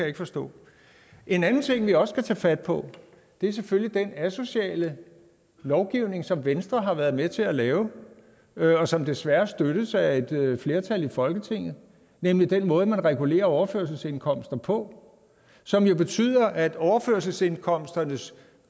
ikke forstå en anden ting vi også skal tage fat på er selvfølgelig den asociale lovgivning som venstre har været med til at lave og som desværre støttes af et flertal i folketinget nemlig den måde man regulerer overførselsindkomster på som jo betyder at overførselsindkomsternes